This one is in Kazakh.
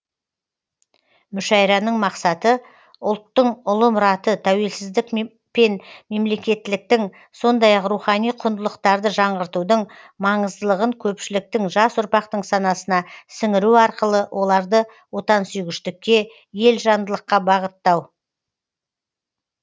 мүшәйраның мақсаты ұлттың ұлы мұраты тәуелсіздік пен мемлекеттіліктің сондай ақ рухани құндылықтарды жаңғыртудың маңыздылығын көпшіліктің жас ұрпақтың санасына сіңіру арқылы оларды отансүйгіштікке елжандылыққа бағыттау